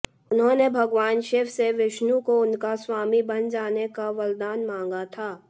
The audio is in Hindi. उन्होंने भगवान शिव से विष्णु को उनका स्वामी बन जाने का वरदान मांगा था